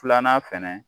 Filanan fɛnɛ